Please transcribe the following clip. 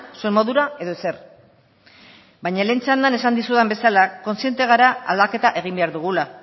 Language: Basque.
zuen modura edo ezer baina lehen txandan esan dizudan bezala kontziente gara aldaketa egin behar dugula